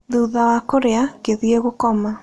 Thutha wa kũrĩa, ngĩthiĩ gũkoma.